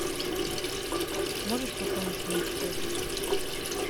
можешь пополнить мне счет